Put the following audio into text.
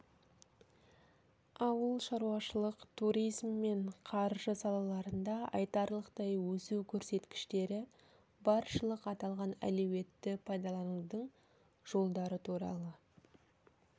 ауыл шаруашылық туризм мен қаржы салаларында айтарлықтай өсу көрсеткіштері баршылық аталған әлеуетті пайдаланудың жолдары туралы